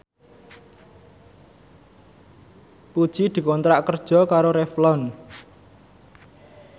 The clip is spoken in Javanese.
Puji dikontrak kerja karo Revlon